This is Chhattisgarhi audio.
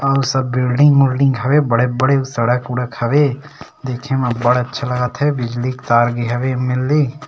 और सब बिल्डिंग उलडिंग हवे बड़े-बड़े सड़क उड़क हवे देखे में बढ़ अच्छा लागत हे बिजली के तार भी हवे एनलमे --